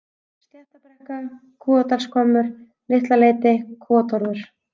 Sléttabrekka, Kúadalshvammur, Litlaleiti, Kúatorfur